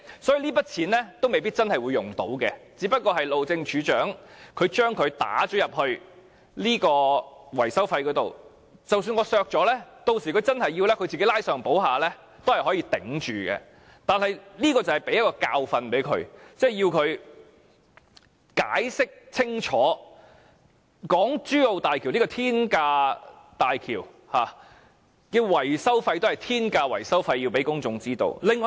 所以，這筆預算未必會用得着，路政署署長只是把這筆費用放進維修費用當中，即使我削減了這筆費用，日後當他需要時，只須拉上補下也是可以支撐住的，而這便可以給他一個教訓，令他知道要向公眾清楚解釋港珠澳大橋這座天價大橋及其天價維修費為何。